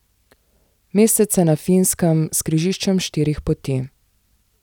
Mestece na Finskem s križiščem štirih poti.